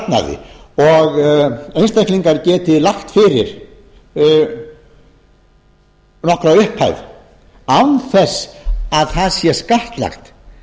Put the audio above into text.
sparnaði og einstaklingar geta lagt fyrir nokkra upphæð án þess að það sé skattlagt